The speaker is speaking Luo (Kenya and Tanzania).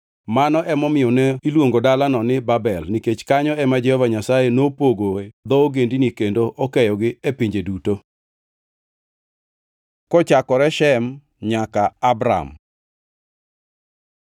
Mano emomiyo ne iluongo dalano ni Babel, nikech kanyo ema Jehova Nyasaye nopogoe dho ogendini kendo okeyogi e pinje duto. Kochakore Shem nyaka Abram